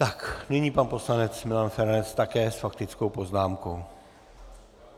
Tak nyní pan poslanec Milan Feranec také s faktickou poznámkou.